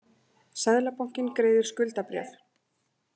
Seðlabankinn greiðir skuldabréf